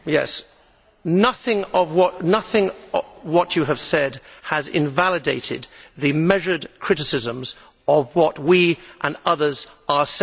Nothing of what you have said has invalidated the measured criticisms of what we and others are saying now.